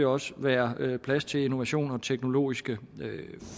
også være plads til innovation og teknologiske